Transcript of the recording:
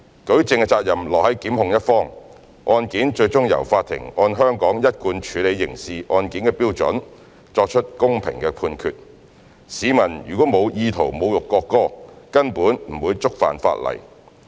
舉證責任落於檢控的一方，案件最終由法庭按香港一貫處理刑事案件的標準作出公平的判決，市民如沒有意圖侮辱國歌，根本不會觸犯法例。